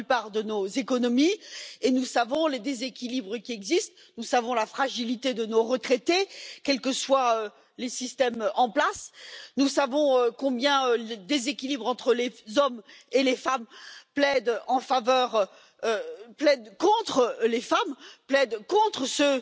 Dobrym przykładem w tej sprawie jest mój kraj, Polska, gdzie od dwóch lat takie dopłaty nie rosną. Najważniejszym jednak elementem przyszłych systemów emerytalnych jest polityka demograficzna wspierająca dzietność, ponieważ w długim okresie